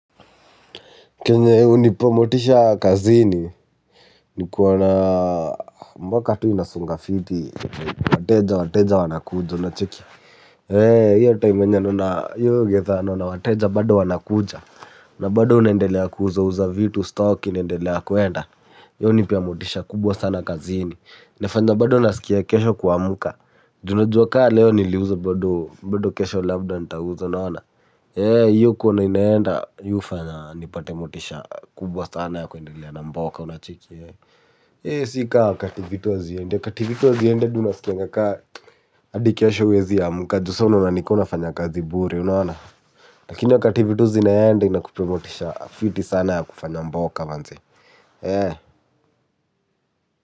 Kenye hunipo motisha kazini, nikuo na mboka tu inasonga fiti, wateja wateja wanakuja una cheki. Eee, hiyo tayo menye nuna, yoyo getha naona wateja bado wanakuja. Na bado unaendelea kuuza uza vitu stock inaendelea kwenda Yoni pea motisha kubwa sana kazini. Nefanya bado unasikia kesho kuamuka. Ju na jua ka leo niliuzo bado, bado kesho labda nitauza naona. Yee, hiyo kuona inaenda, hiyo fanya nipatemotisha kubwa sana ya kuendelea na mbaoka unachiki. Yee, sika kati vitu azi yende, kati vitu azi yende dunasikengaka adikesho wezi ya mkajusa unaona na nikona fanya kazi bure unaona. Lakini yo kati vituzi naende na kupea motisha fiti sana ya kufanya mboka manze. Yee.